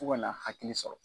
Fo ka na hakili sɔrɔ.